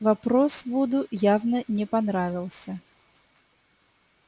вопрос вуду явно не понравился